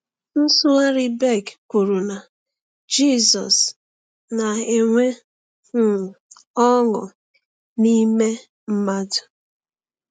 Nsụgharị Beck kwuru na Jizọs “na-enwe um ọṅụ n’ime mmadụ.”